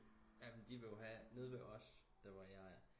Jamen de vil jo have nede ved os der hvor jeg er